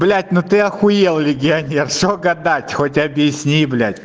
блядь ну ты ахуел легионер что гадать хоть объясни блядь